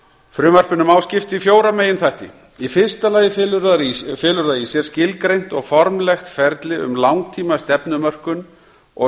frumvarpinu má skipta í fjóra meginþætti í fyrsta lagi felur það í sér skilgreint og formlegt ferli um langtímastefnumörkun og